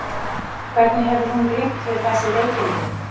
Hvernig hefur hún glímt við þessi veikindi?